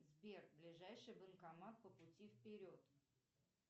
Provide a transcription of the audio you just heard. сбер ближайший банкомат по пути вперед